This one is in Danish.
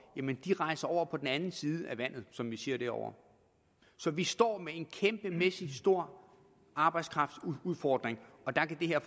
jamen de rejser over på den anden side af vandet som vi siger derovre så vi står med en kæmpestor arbejdskraftudfordring og der kan det her